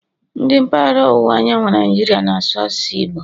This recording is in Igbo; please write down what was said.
Ndi mpaghara ọwụwa anyanwụ Naijiria na-asụ asụsụ Igbo